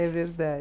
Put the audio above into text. É